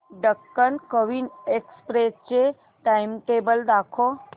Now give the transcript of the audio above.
Deccan Queen Express चे timetable दाखव